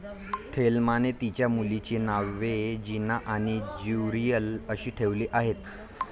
थेलमाने तिच्या मुलींची नावे जीना आणि ज्युरियल अशी ठेवली आहेत.